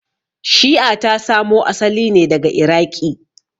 Shi'a ta samo asali ne daga Iraqi.